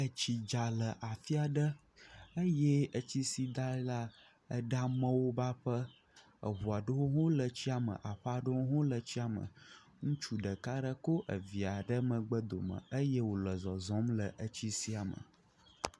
Etsi dza le afia ɖe eye etsi si dza la, ɖe amewo ƒe aƒe, eʋua ɖewo hãle etsia me, aƒe aɖewo le tsia me. Ŋutsu ɖeka ɖe ko via ɖe megbe dome eye wole zɔzɔm le etsi sia me.